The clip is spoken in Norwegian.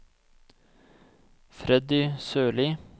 Freddy Sørlie